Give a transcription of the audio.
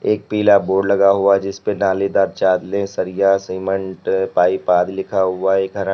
एक पीला बोर्ड लगा हुआ जिस पर नालीदार चादरे सरिया सीमेंट पाइप आदि लिखा हुआ है। एक हरा--